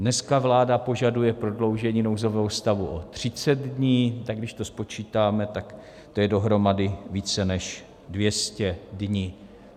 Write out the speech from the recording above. Dneska vláda požaduje prodloužení nouzového stavu o 30 dní, tak když to spočítáme, tak to je dohromady více než 200 dní.